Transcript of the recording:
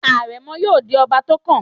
Àrẹ̀mọ yóò di ọba tó kàn.